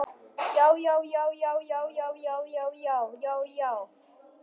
JÁ, JÁ, JÁ, JÁ, JÁ, JÁ, JÁ, JÁ.